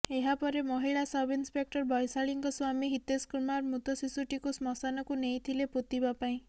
ଏହାପରେ ମହିଳା ସବ୍ଇନ୍ସପେକ୍ଟର ବୈଶାଳୀଙ୍କ ସ୍ବାମୀ ହିତେଶ କୁମାର ମୃତ ଶିଶୁଟିକୁ ଶ୍ମଶାନକୁ ନେଇଥିଲେ ପୋତିବା ପାଇଁ